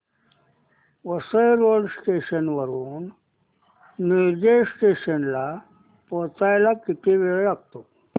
Vasai road station वरून Nilaje station ला पोहचायला किती वेळ लागतो